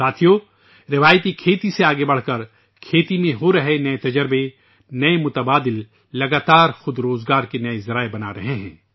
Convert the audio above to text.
دوستو ، روایتی کاشتکاری سے آگے بڑھتے ہوئے ، زراعت میں کیے جا رہے نئے تجربات ، نئے متبادل مسلسل خود روزگار کے نئے ذرائع بنا رہے ہیں